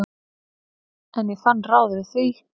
En ég fann ráð við því.